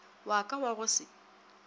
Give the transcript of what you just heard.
wa ka wa go se